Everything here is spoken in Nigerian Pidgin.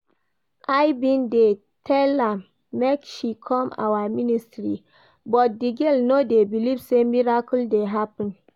I bin dey tell am make she come our ministry but the girl no dey believe say miracle dey happen.